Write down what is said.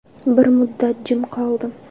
Bir muddat jim qoldim.